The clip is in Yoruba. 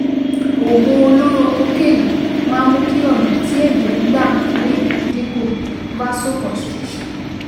Oògùn olóró kokéènì máa ń mú kí ọ̀nà tí ẹ̀jẹ̀ ń gbà rìn dín kù (vasoconstriction)